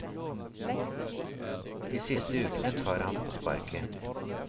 De siste ukene tar han på sparket.